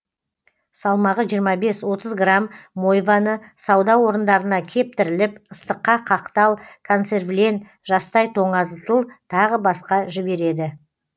салмағы жиырма бес отыз грамм мойваны сауда орындарына кептіріліп ыстыққа қақтал консервілен жастай тоңазытыл тағы басқа жібереді